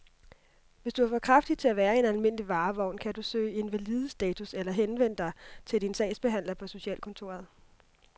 Hvis du er for kraftig til at være i en almindelig varevogn, kan du kan søge invalidestatus eller henvende dig til din sagsbehandler på socialkontoret.